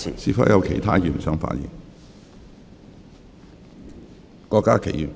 是否有其他議員想發言？